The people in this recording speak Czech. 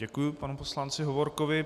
Děkuji panu poslanci Hovorkovi.